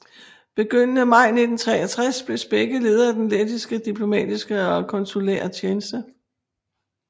Begyndende maj 1963 blev Spekke leder af den lettiske diplomatiske og konsulære tjeneste